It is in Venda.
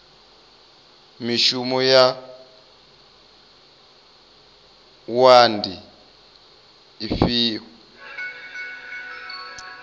mishumo ya wua ndi ifhio